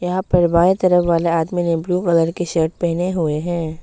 यहां पर बाएं तरफ वाला आदमी ने ब्लू कलर के शर्ट पहने हुए है।